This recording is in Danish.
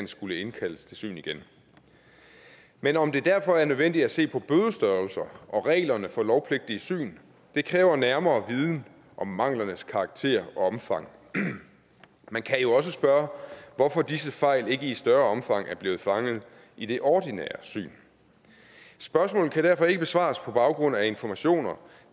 skulle indkaldes til syn igen men om det derfor er nødvendigt at se på bødestørrelser og reglerne for lovpligtige syn kræver nærmere viden om manglernes karakter og omfang man kan jo også spørge hvorfor disse fejl ikke i større omfang er blevet fanget i det ordinære syn spørgsmålet kan derfor ikke besvares på baggrund af informationer